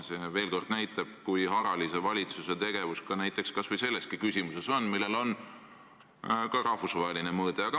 See veel kord näitab, kui harali valitsuse tegevus kas või selles küsimuses on, kuigi sellel on ka rahvusvaheline mõõde.